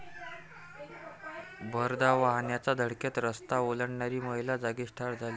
भरधाव वाहनाच्या धडकेत रस्ता ओलांडणारी महिला जागीच ठार झाली.